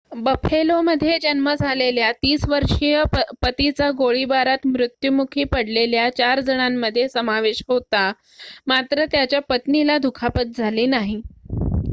बफेलोमध्ये जन्म झालेल्या ३० वर्षीय पतीचा गोळीबारात मृत्युमुखी पडलेल्या चार जणांमध्ये समावेश होता मात्र त्याच्या पत्नीला दुखापत झाली नाही